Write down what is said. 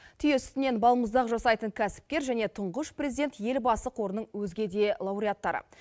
түйе сүтінен балмұздақ жасайтын кәсіпкер және тұңғыш президент елбасы қорының өзге де лауреаттары